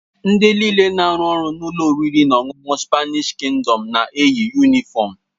Ndị nịle na-arụ ọrụ na ụlọ oriri na ọṅụṅụ Spanịsh Kingdọm na-eyi yunịfọmu.